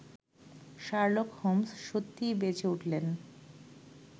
Sherlock Holmes সত্যই বেঁচে উঠলেন